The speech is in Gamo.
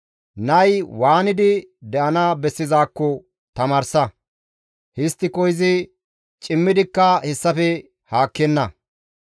Nayi waanidi de7ana bessizaakko tamaarsa; histtiko izi cimmidikka hessafe haakkenna.